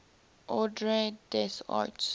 ordre des arts